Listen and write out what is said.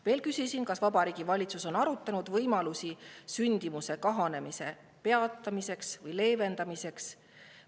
Veel küsisin: kas Vabariigi Valitsus on arutanud võimalusi sündimuse kahanemise peatamiseks või leevendamiseks?